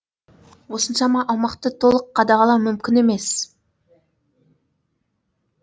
осыншама аумақты толық қадағалау мүмкін емес